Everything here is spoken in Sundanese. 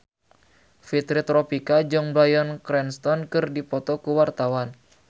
Fitri Tropika jeung Bryan Cranston keur dipoto ku wartawan